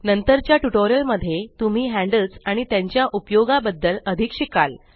नंतरच्या ट्यूटोरियल मध्ये तुम्ही हैन्ड्ल्स आणि त्यांच्या उपयोगाबद्दल अधिक शिकाल